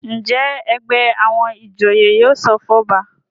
Njé ègbé àwọn ìjòyè yóò sọfún ọba?